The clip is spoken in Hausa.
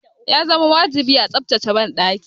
Ya zama wajibi a tsaftace banɗaki.